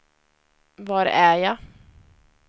var är jag